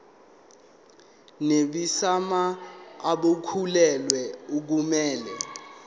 nabesimame abakhulelwe akumele